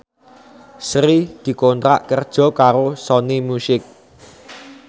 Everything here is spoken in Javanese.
Sri dikontrak kerja karo Sony Music